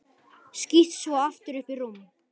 Skýst svo aftur upp í rúm.